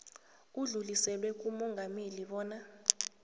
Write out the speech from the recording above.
udluliselwe kumongameli bona